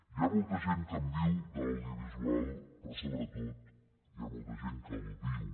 hi ha molta gent que en viu de l’audiovisual però sobretot hi ha molta gent que el viu